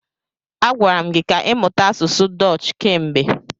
A gwara m gi ka ịmụta asụsụ Dọch kemgbe.